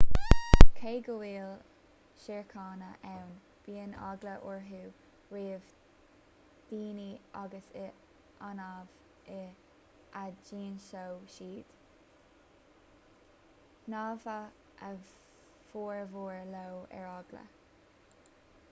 cé go bhfuil siorcanna ann bíonn eagla orthu roimh dhaoine agus is annamh a d'ionsódh siad shnámhadh a bhformhór leo ar eagla